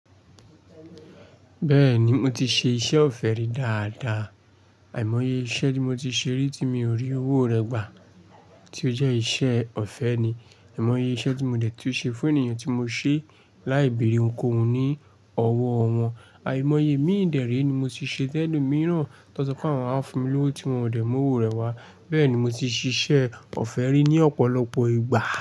Bẹ́ẹ̀ni, mo ti ṣe iṣẹ́ ọ̀fẹ́ rí dáadáa. Àìmọye iṣẹ́ tí mo ti ṣe rí tí mi ò rí owó rẹ̀ gbà tí ó jẹ́ iṣẹ́ ọ̀fẹ́ ni. Àìmọye iṣẹ́ tí mo dẹ̀ tí ó ṣe fún ènìyàn tí mo ṣe láìbẹ̀re ohun kòhùn ní ọwọ́ wọn. Àìmọye mi dere ni mo ti ṣe tẹ́lomìíràn tó sọ pé àwọn á fi mí lówó tí wọ́n ò dẹ̀ mọ́ owó rẹ̀ wá. Bẹ́ẹ̀ni, mo ti ṣiṣẹ́ ọ̀fẹ́ rí ní ọ̀pọ̀lọpọ̀ ìgbà.